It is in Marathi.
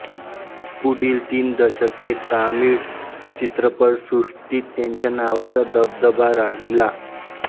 पुढील तीन दशके तमिळ चित्रपटसृष्टीत त्यांच्या नावाचा दबदबा राहिला